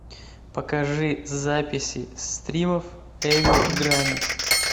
покажи записи стримов эвил грани